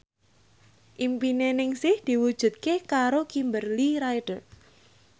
impine Ningsih diwujudke karo Kimberly Ryder